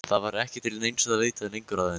Það var ekki til neins að leita lengur að henni.